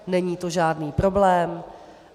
Není to žádný problém.